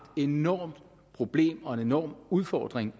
enormt problem og en enorm udfordring